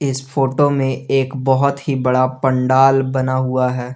इस फोटो में एक बहुत ही बड़ा पंडाल बना हुआ है।